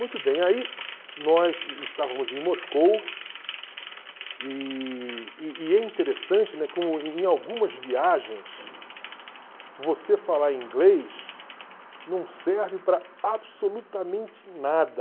Muito bem, aí nós estávamos em Moscou e e é interessante, né, como em algumas viagens você falar inglês não serve para absolutamente nada.